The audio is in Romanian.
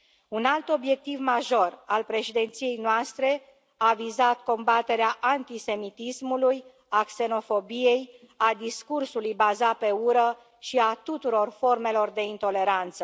Un alt obiectiv major al președinției noastre a vizat combaterea antisemitismului, a xenofobiei, a discursului bazat pe ură și a tuturor formelor de intoleranță.